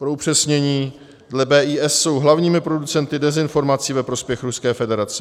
Pro upřesnění, dle BIS jsou hlavními producenty dezinformací ve prospěch Ruské federace.